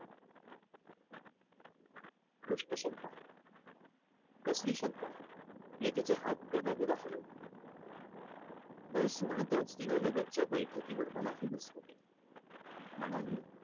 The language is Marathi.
दुष्ट शंका कसली शंका? मी तिचे हात गदागदा हलवले. बस म्हणतच तिनं लगतच्या बैठकीवर मलाही बसवले. म्हणाली,